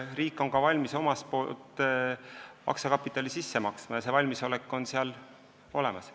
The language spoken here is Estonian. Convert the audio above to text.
Riik on valmis omalt poolt aktsiakapitali sisse maksma, see valmisolek on olemas.